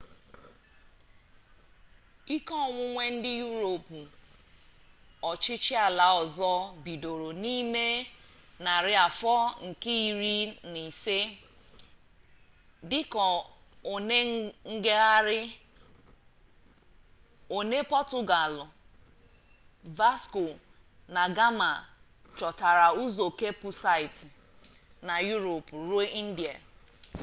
ike onwunwe ndị yurop ọchịchị ala ọzọ bidoro n'ime narị afọ nke iri na ise dị ka one ngagharị one pọtugalụ vasco da gama chọtara ụzọ kepụ site na yurop ruo indịa